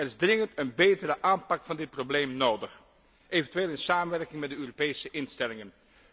Er is dringend een betere aanpak van dit probleem nodig, eventueel in samenwerking met de Europese instellingen.